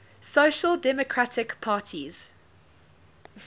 social democratic parties